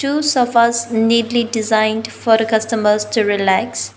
two sofas neatly designed for customers to relax.